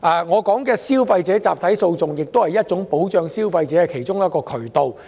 我說的消費者集體訴訟是保障消費者的其中一種渠道。